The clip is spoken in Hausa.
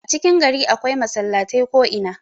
a cikin gari akwai masallatai ko'ina